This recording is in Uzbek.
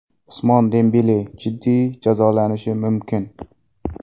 Usmon Dembele jiddiy jazolanishi mumkin.